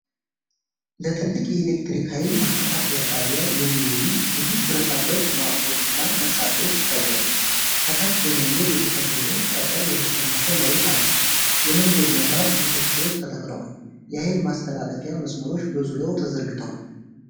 ለትልቅ የኤሌክትሪክ ኃይል ማከፋፈያ ጣቢያ የሚውሉ ብዙ ብረታብረት መዋቅሮች እና መሣሪያዎች ይታያሉ። ከታች በመንገድ የተከበበ ጠጠር የነሰነሰ መሬት አለ። የመንገድ መብራት ምሰሶዎች ተተክለዋል። የኃይል ማስተላለፊያ መስመሮች በዙሪያው ተዘርግተዋል።